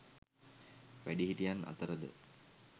වැඩිහිටියන් අතර ද